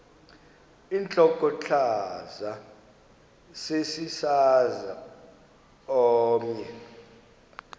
intlokohlaza sesisaz omny